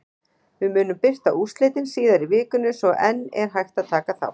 Við munum birta úrslitin síðar í vikunni svo enn er hægt að taka þátt!